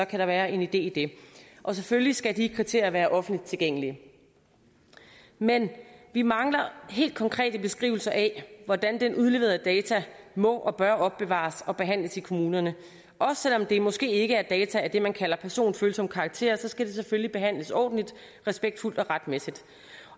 kan der være en idé i det og selvfølgelig skal de kriterier være offentligt tilgængelige men vi mangler helt konkret en beskrivelse af hvordan den udleverede data må og bør opbevares og behandles i kommunerne selv om det måske ikke er data af det man kalder personfølsom karakter skal det selvfølgelig behandles ordentligt respektfuldt og retmæssigt